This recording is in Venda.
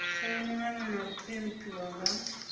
sainwaho na u ṱempiwa nga